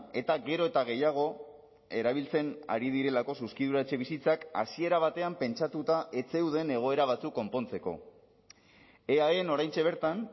eta gero eta gehiago erabiltzen ari direlako zuzkidura etxebizitzak hasiera batean pentsatuta ez zeuden egoera batzuk konpontzeko eaen oraintxe bertan